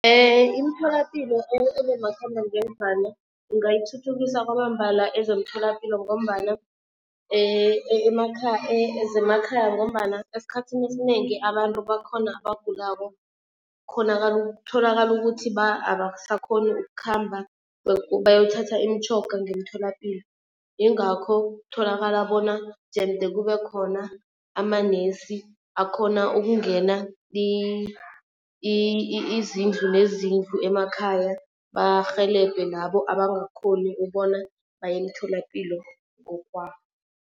Imitholapilo ebomakhambangendlwana ingayithuthukisa kwamambala ezomtholapilo ngombana zemakhaya ngombana esikhathini esinengi abantu bakhona abagulako kutholakala ukuthi abasakhoni ukukhamba bayothatha imitjhoga ngemtholapilo. Ingakho kutholakala bona jemde kube khona amanesi akhona ukungena izindlu nezindlu emakhaya barhelebhe labo abangakhoni ubona baye emtholapilo ngokwabo.